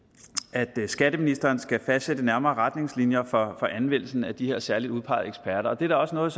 at skatteministeren skal fastsætte nærmere retningslinjer for anvendelsen af de her særligt udpegede eksperter det er da også noget